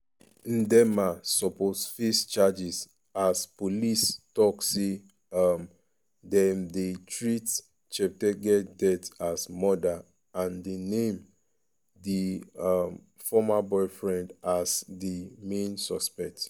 ndiema suppose face charges as police tok say um dem dey treat cheptegei death as murder and de name di um former boyfriend as di main suspect.